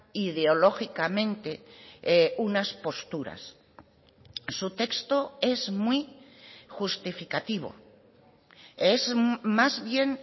ideológicamente unas posturas su texto es muy justificativo es más bien